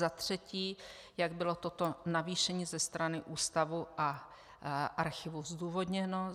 Za třetí, jak bylo toto navýšení ze strany Ústavu a Archivu zdůvodněno.